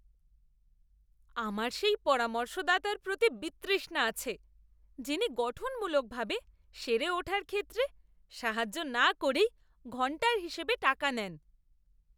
আমার সেই পরামর্শদাতার প্রতি বিতৃষ্ণা আছে যিনি গঠনমূলকভাবে সেরে ওঠার ক্ষেত্রে সাহায্য না করেই ঘণ্টার হিসেবে টাকা নেন!